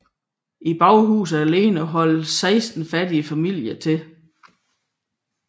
I baghuset alene holdt seksten fattige familier til